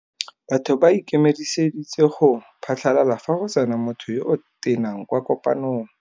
Batho ba ikemeseditse go phatlalala fa go tsena motho yo o tenang kwa kopanông.